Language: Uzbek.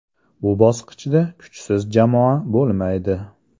Bu bosqichda kuchsiz jamoa bo‘lmaydi.